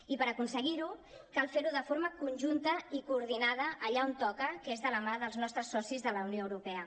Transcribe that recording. i per aconseguir ho cal fer ho de forma conjunta i coordinada allà on toca que és de la mà dels nostres socis de la unió europea